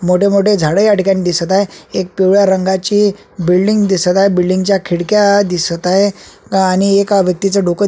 मोठे मोठे झाडे याठिकाणी दिसत आहे एक पिवळ्या रंगाची बिल्डींग दिसत आहे बिल्डींग च्या खिडक्या दिसत आहे आणि एका व्यक्तीच डोक --